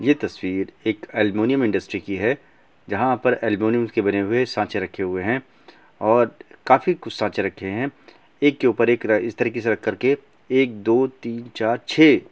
यह तस्वीर एक एल्युमीनियम इंडस्ट्री की है जहाँ पर ऐल्यूमिनियम के बने हुए साँचे रखे हुए है और काफ़ी कुछ साँचे रखे है एक के ऊपर एक र इस तरीक़े से रख कर के एक दो तीन चार छे--